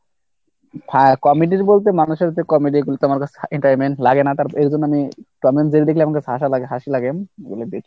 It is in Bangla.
হ্যাঁ comedy বলতে মানুষের যে comedy গুলো তো আমার কাছে entertainment লাগে না তার এর জন্য আমি Tom and Jerry দেখলে আমাকে হাঁসা লাগে হাঁসি লাগে ওগুলো দেখি আমি বেশি।